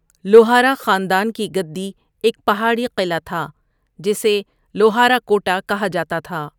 لوہارا خاندان کی گدی ایک پہاڑی قلعہ تھا جسے لوہارا کوٹہ کہا جاتا تھا۔